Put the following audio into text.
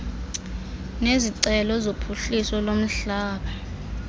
nezicelo zophuhliso lomhlaba